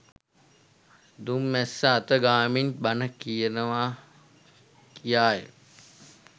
දුම් මැස්ස අත ගාමින් බණ කියනවා කියාය.